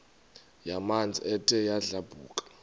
yamanzi ethe yadlabhuka